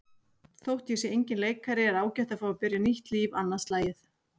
Þótt ég sé enginn leikari er ágætt að fá að byrja nýtt líf annað slagið.